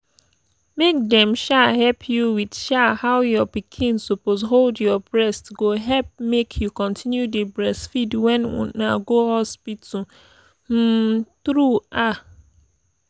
make dem um help you with um how your pikin suppose hold your breast go help make you continue dey breastfeed when una go hospital um true ah